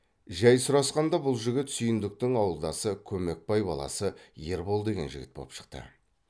жай сұрасқанда бұл жігіт сүйіндіктің ауылдасы көмекбай баласы ербол деген жігіт боп шықты